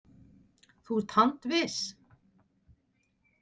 Þú ert handviss?